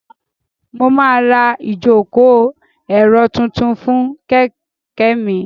Mo máa ra ìjòkó èrò tuntun fún kẹ̀kẹ́ mi